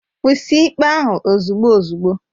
Kwụsị ikpe ahu ozugbo ozugbo!